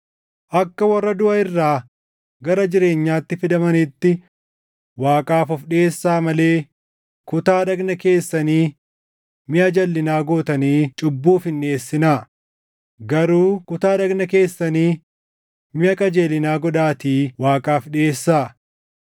Akka warra duʼa irraa gara jireenyaatti fidamaniitti Waaqaaf of dhiʼeessaa malee kutaa dhagna keessanii miʼa jalʼinaa gootanii cubbuuf hin dhiʼeessinaa; garuu kutaa dhagna keessanii miʼa qajeelinaa godhaatii Waaqaaf dhiʼeessaa.